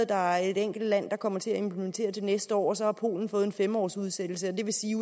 der er et enkelt land der kommer til at implementere det til næste år og så har polen fået fem års udsættelse det vil sige